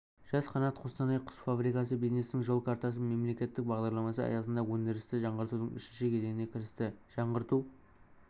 жас-қанат қостанай құс фабрикасы бизнестің жол картасы мемлекеттік бағдарламасы аясында өндірісті жаңғыртудың үшінші кезеңіне кірісті жаңғырту